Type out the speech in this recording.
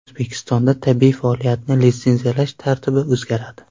O‘zbekistonda tibbiy faoliyatni litsenziyalash tartibi o‘zgaradi.